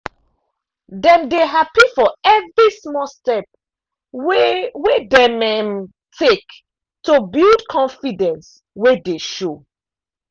dem dey happy for every small step wey wey dem um take to build confidence way dey show.